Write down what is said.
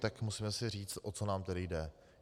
Tak musíme si říct, o co nám tedy jde.